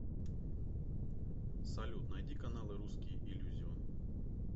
салют найди каналы русский иллюзион